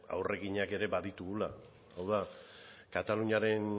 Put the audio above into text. aurrekinak ere baditugula hau da kataluniaren